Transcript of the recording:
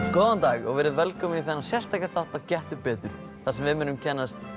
góðan dag og velkomin í þennan sérstaka þátt af Gettu betur þar sem við munum kynnast